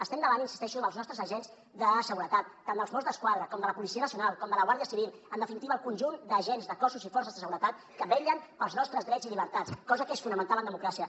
estem davant hi insisteixo dels nostres agents de seguretat tant dels mossos d’esquadra com de la policia nacional com de la guàrdia civil en definitiva el conjunt d’agents de cossos i forces de seguretat que vetllen pels nostres drets i llibertats cosa que és fonamental en democràcia